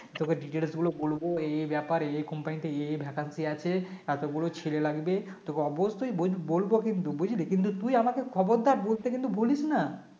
তোকে Details গুলো বলবো এই এই ব্যাপার এই এই company এই এই vacancy আছে এতগুলো ছেলে লাগবে তোকে অবশ্যই বল~ বলব কিন্তু বুঝলি কিন্তু তুই আমাকে খবরটা বলতে কিন্তু ভুলিস না